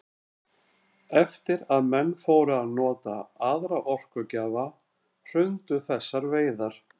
Eftir að menn fóru að nota aðra orkugjafa hrundu þessar veiðar.